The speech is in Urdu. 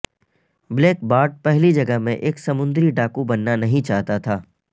بلیک بارٹ پہلی جگہ میں ایک سمندری ڈاکو بننا نہیں چاہتا تھا